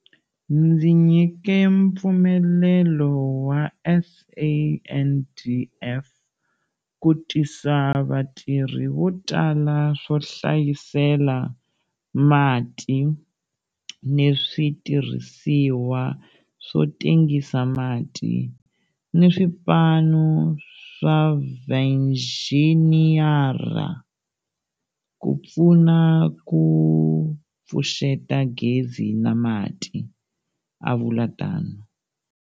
Ndzi nyike mpfumelelo wa SANDF ku tisa vatirhi votala, swo hlayisela mati ni switirhisiwa swo tengisa mati ni swipanu swa vainjhiniyara ku pfuna ku pfuxeta gezi na mati, a vula tano.